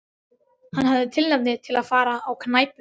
Hann hafði tilefni til að fara á knæpu.